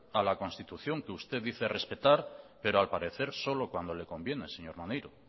a la constitución que usted dice respetar pero al parecer solo cuando le conviene señor maneiro